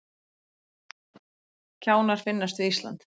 Kjánar finnast við Ísland